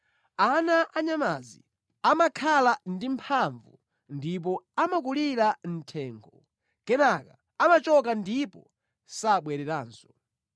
Ana a nyamazi amakhala ndi mphamvu ndipo amakulira mʼthengo; kenaka amachoka ndipo sabwereranso.